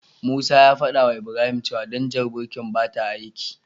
Musa ya fadawa Ibrahim cewa danjar birkin bata aiki.